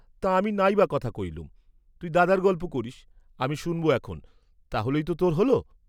তা আমি নাইবা কথা কইলুম, তুই দাদার গল্প করিস, আমি শুন্‌ব এখন, তা হলেই তো তোর হ’ল?